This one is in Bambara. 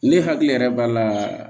Ne hakili yɛrɛ b'a la